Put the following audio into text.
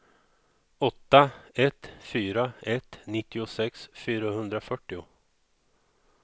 åtta ett fyra ett nittiosex fyrahundrafyrtio